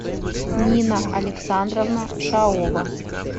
нина александровна шаова